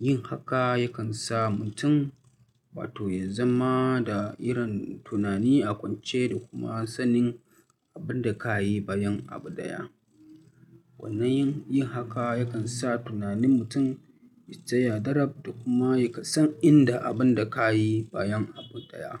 Yin haka yakan sa mutum wa to ya zama da irin tunani a kwance da kuma sanin abin da ka yi bayan abu daya. Wannan yin haka yakan sa tunanin mutum ya tsaya dadab da kuma ya kasance inda abin da ka yi bayan abu daya.